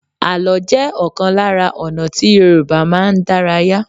Àló jẹ́ ọ̀kan lára ọ̀nà tí Yorùbá máa ń dárayá.